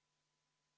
Palun vaikust!